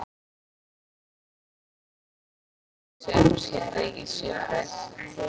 Kanslarinn horfði á konung sinn og sýndi engin svipbrigði.